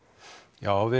já við